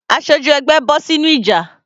Aṣojú ẹgbẹ́ bọ́ sínú ìjà.